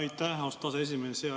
Aitäh, austatud aseesimees!